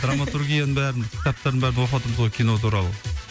драматургияның бәрін кітаптарын бәрін оқыватырмыз ғой кино туралы